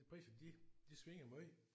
De priser de de svinger meget